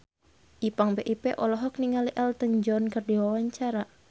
Ipank BIP olohok ningali Elton John keur diwawancara